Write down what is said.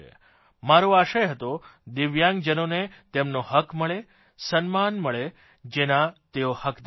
મારો આશય હતો દિવ્યાંગજનોને તેમનો હક્ મળે સન્માન મળે જેના તેઓ હકદાર છે